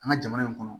An ka jamana in kɔnɔ